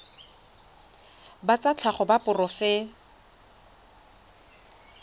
ba tsa tlhago ba seporofe